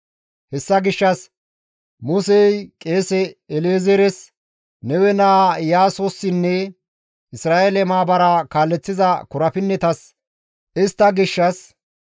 Hessa gishshas Musey qeese El7ezeeres, Nawe naa Iyaasossinne Isra7eele maabaraa kaaleththiza korapinnetas istta gishshas,